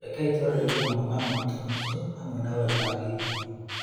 Rekei twarĩrĩrie mamwe ma moritũ macio o hamwe na ũrĩa mangĩniinwo.